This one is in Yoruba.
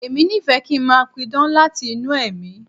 Èmi nífẹ̀ẹ́ kí n máa pidán láti inú ẹ̀mí.